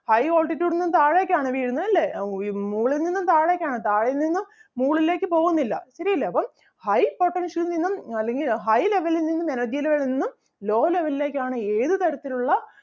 high altitude ൽ നിന്നും താഴേക്ക് ആണ് വീഴുന്നത് ല്ലേ? അഹ് മുകളിൽ നിന്നും താഴേക്ക് ആണ് താഴെ നിന്നും മുകളിലേക്ക് പോകുന്നില്ല ശെരിയല്ലേ അപ്പം high potential ൽ നിന്നും അല്ലെങ്കിൽ high level ൽ നിന്നും energy level എന്നും low level ലേക്ക് ആണ് ഏത് തരത്തിൽ ഉള്ള